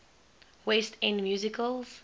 west end musicals